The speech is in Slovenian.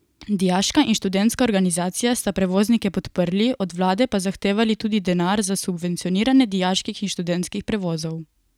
Dijaška in študentska organizacija sta prevoznike podprli, od vlade pa zahtevali tudi denar za subvencioniranje dijaških in študentskih prevozov.